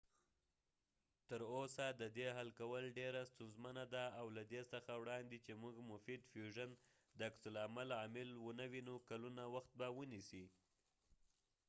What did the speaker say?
تر اوسه ددې حل کول ډیره ستونزمنه ده او له دې څخه وړاندې چې مونږ مفید فیوژن د عکس العمل عامل و نه وینو کلونو وخت به ونیسي